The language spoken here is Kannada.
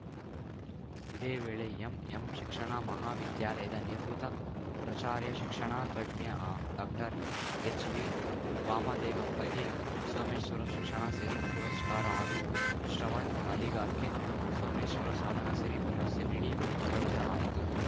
ಇದೇ ವೇಳೆ ಎಂಎಂ ಶಿಕ್ಷಣ ಮಹಾ ವಿದ್ಯಾಲಯದ ನಿವೃತ್ತ ಪ್ರಾಚಾರ್ಯ ಶಿಕ್ಷಣ ತಜ್ಞ ಡಾಕ್ಟರ್ಎಚ್‌ವಿವಾಮದೇವಪ್ಪಗೆ ಸೋಮೇಶ್ವರ ಶಿಕ್ಷಣ ಸಿರಿ ಪುರಸ್ಕಾರ ಹಾಗೂ ಶ್ರವಣ್‌ ಅಲಿಗಾರ್‌ಗೆ ಸೋಮೇಶ್ವರ ಸಾಧನ ಸಿರಿ ಪ್ರಶಸ್ತಿ ನೀಡಿ ಗೌರವಿಸಲಾಯಿತು